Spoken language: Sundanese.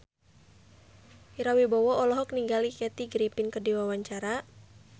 Ira Wibowo olohok ningali Kathy Griffin keur diwawancara